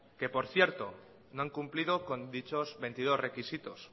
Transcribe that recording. que por cierto no han cumplido con dichos veintidós requisitos